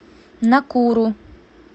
накуру